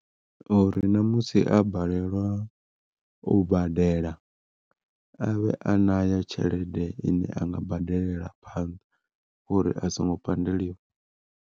Uri ṋamusi a balelwa u badela avhe a nayo tshelede ine anga badelela phanḓa uri a songo pandeliwa.